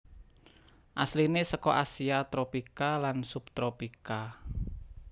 Asliné seka Asia tropika lan subtropika